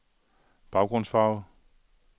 baggrundsfarve